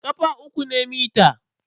ƙafa uku ne mita.